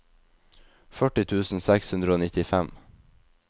førti tusen seks hundre og nittifem